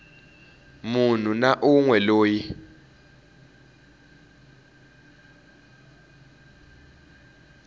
munhu na un we loyi